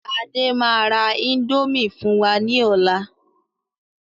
Adé máa ra índòmí fún wa ní ọ̀la